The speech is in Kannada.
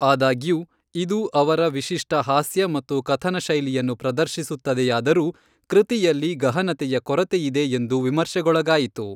ಆದಾಗ್ಯೂ, ಇದು ಅವರ ವಿಶಿಷ್ಟ ಹಾಸ್ಯ ಮತ್ತು ಕಥನಶೈಲಿಯನ್ನು ಪ್ರದರ್ಶಿಸುತ್ತದೆಯಾದರೂ, ಕೃತಿಯಲ್ಲಿ ಗಹನತೆಯ ಕೊರತೆಯಿದೆ ಎಂದು ವಿಮರ್ಶೆಗೊಳಗಾಯಿತು.